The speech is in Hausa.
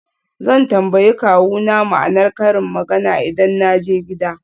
Zan tambayi kawuna ma'anar karin magana idan na je gida.